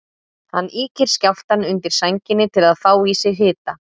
Hann ýkir skjálftann undir sænginni til að fá í sig hita.